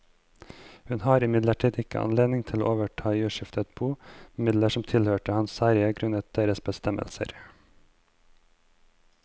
Hun har imidlertid ikke anledning til å overta i uskiftet bo midler som tilhørte hans særeie grunnet deres bestemmelser.